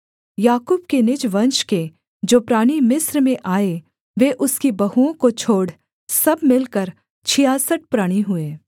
याकूब के निज वंश के जो प्राणी मिस्र में आए वे उसकी बहुओं को छोड़ सब मिलकर छियासठ प्राणी हुए